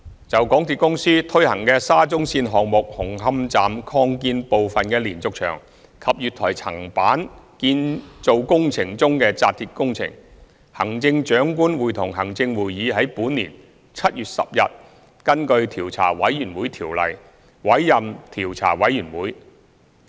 就港鐵公司推行的沙中線項目紅磡站擴建部分的連續牆及月台層板建造工程中的扎鐵工程，行政長官會同行政會議於本年7月10日根據《調查委員會條例》委任調查委員會。